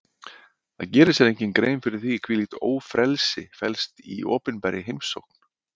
Það gerir sér enginn grein fyrir því hvílíkt ófrelsi felst í opinberri heimsókn.